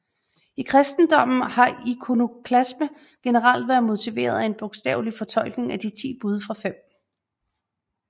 I kristendommen har ikonoklasme generelt været motiveret af en bogstavelig fortolkning af de ti bud fra 5